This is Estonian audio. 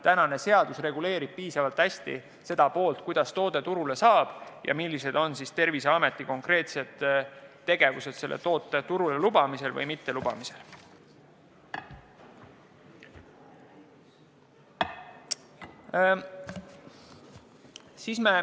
Praegune seadus reguleerib piisavalt hästi, kuidas toode turule saab ja milline on Terviseameti konkreetne tegevus toote turule lubamisel või mittelubamisel.